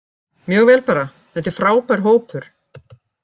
Mjög vel bara, þetta er frábær hópur.